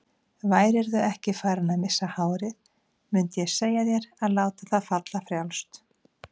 Værirðu ekki farinn að missa hárið mundið ég segja þér að láta það falla frjálst.